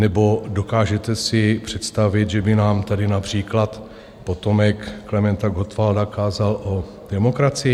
Nebo dokážete si představit, že by nám tady například potomek Klementa Gottwalda kázal o demokracii?